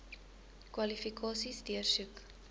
kwalifikasies deursoek